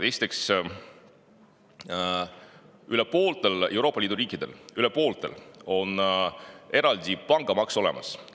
Esiteks, üle pooltel Euroopa Liidu riikidel – üle pooltel – on eraldi pangamaks olemas.